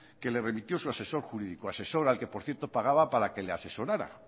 que le remitió su asesor jurídico asesor al que por cierto pagaba para que le asesorara